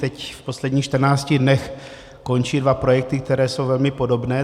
Teď, v posledních 14 dnech, končí dva projekty, které jsou velmi podobné.